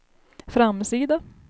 framsida